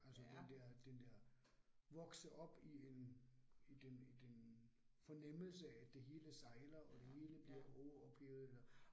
Altså den der den der vokse op i en i den i den fornemmelse, at det hele sejler og det hele bliver overophedet eller